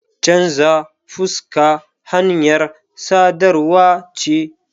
Chanza fuska hanyar sadarwa ce.